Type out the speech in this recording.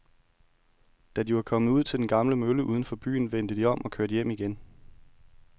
Da de var kommet ud til den gamle mølle uden for byen, vendte de om og kørte hjem igen.